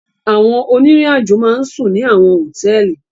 Àwọn oniriajo ma n sun ni awọn hotẹẹli